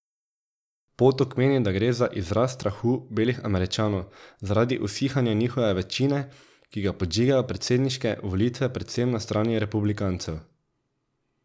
Potok meni, da gre za izraz strahu belih Američanov zaradi usihanja njihove večine, ki ga podžigajo predsedniške volitve predvsem na strani republikancev.